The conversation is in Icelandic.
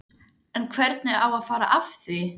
En hvernig á að fara að því?